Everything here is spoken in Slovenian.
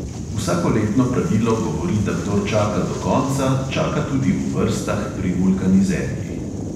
Vsakoletno pravilo govori, da kdor čaka do konca, čaka tudi v vrstah pri vulkanizerjih.